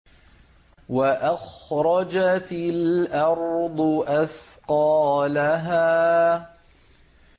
وَأَخْرَجَتِ الْأَرْضُ أَثْقَالَهَا